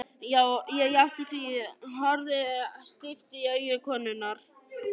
Ég játti því, horfði stíft í augu konunnar.